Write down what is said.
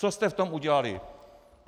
Co jste v tom udělali?